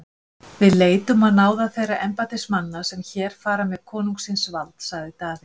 Við leitum á náðir þeirra embættismanna sem hér fara með konungsins vald, sagði Daði.